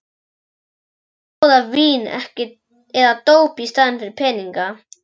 Sumir bjóða vín eða dóp í staðinn fyrir peninga.